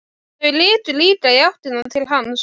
Þau litu líka í áttina til hans.